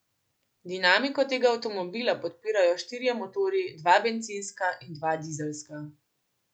Dinamiko tega avtomobila podpirajo štirje motorji, dva bencinska in dva dizelska.